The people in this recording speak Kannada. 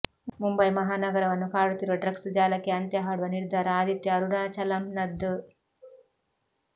ಮುಂಬೈ ಮಹಾನಗರವನ್ನು ಕಾಡುತ್ತಿರುವ ಡ್ರಗ್ಸ್ ಜಾಲಕ್ಕೆ ಅಂತ್ಯ ಹಾಡುವ ನಿರ್ಧಾರ ಆದಿತ್ಯ ಅರುಣಾಚಲಂನದ್ದು